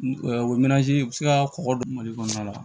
bɛ se ka kɔkɔ dun mali kɔnɔna la